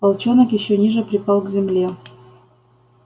волчонок ещё ниже припал к земле